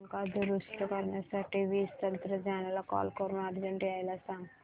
पंखा दुरुस्त करण्यासाठी वीज तंत्रज्ञला कॉल करून अर्जंट यायला सांग